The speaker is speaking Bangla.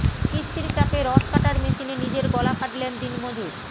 কিস্তির চাপে রড কাটার মেশিনে নিজের গলা কাটলেন দিনমজুর